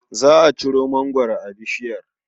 Za a ciro mangwaro a bishiyar.